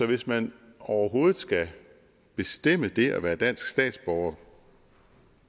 hvis man overhovedet skal bestemme det at være dansk statsborger